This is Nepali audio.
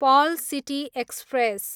Perl city express